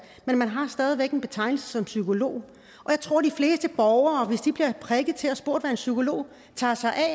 men man har stadig væk en betegnelse som psykolog og jeg tror de fleste borgere hvis de bliver prikket til og spurgt hvad en psykolog tager sig af